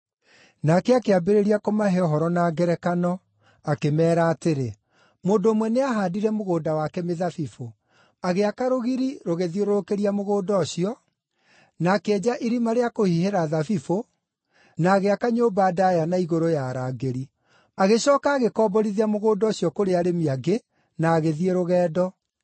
Nake akĩambĩrĩria kũmahe ũhoro na ngerekano, akĩmeera atĩrĩ, “Mũndũ ũmwe nĩahaandire mũgũnda wake mĩthabibũ. Agĩaka rũgiri rũgĩthiũrũrũkĩria mũgũnda ũcio, na akĩenja irima rĩa kũhihĩra thabibũ, na agĩaka nyũmba ndaaya na igũrũ ya arangĩri. Agĩcooka agĩkomborithia mũgũnda ũcio kũrĩ arĩmi angĩ, na agĩthiĩ rũgendo.